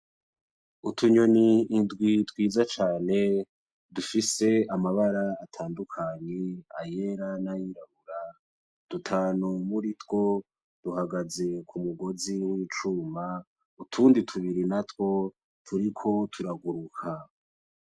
Utunyoni indwi twiza cane dufise amabara atandukanye, ayera n‘ ayirabura , dutanu muri two duhagaze k‘ umugozi w‘icuma, utundi natwo tuburi natwo turiko turaguruka .